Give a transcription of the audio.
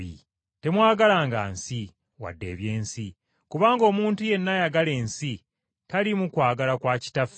Temwagalanga nsi, wadde eby’ensi. Kubanga omuntu yenna ayagala ensi taliimu kwagala kwa Kitaffe.